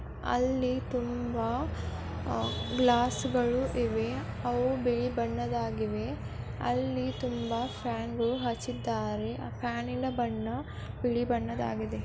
ಅಲ್ಲಿ ತುಂಬಾ ಗ್ಲಾಸಗಳು ಇವೆ. ಅವು ಬಿಳಿ ಬಣ್ಣದ್ದಾಗಿವೆ ಅಲ್ಲಿ ತುಂಬಾ ಫ್ಯಾನ್ ಹಚ್ಚಿದ್ದಾರೆ ಅಲ್ಲಿ ತುಂಬಾ ಫೇಮಸ್ಸು ಹಚ್ಚಿದ್ದಾರೆ ಕಾಲಿನ ಬಣ್ಣ ಬಿಳಿ ಬಣ್ಣದಾಗಿದೆ.